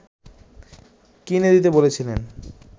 কিনে দিতে বলেছিলেন